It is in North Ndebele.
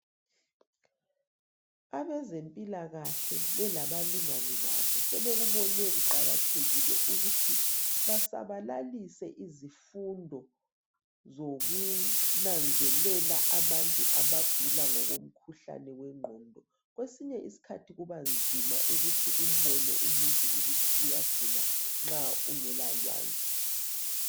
Abezempilakahle belabalinganj babo sebekubone kuqakathekile ukuthi basabalalise izifundo zokunanzelela abantu abagula ngokomkhuhlane wengqondo. Kwesinye isikhathi kubanzima ukuthi umbone umuntu ukuthi uyagula nxa ungela lwazi.